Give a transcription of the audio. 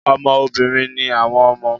Ọmọ obìnrin ni àwọn ọmọ